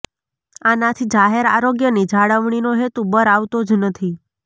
આનાથી જાહેર આરોગ્યની જાળવણીનો હેતુ બર આવતો જ નથી